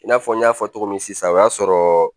I n'a fɔ n y'a fɔ cogo min sisan o y'a sɔrɔ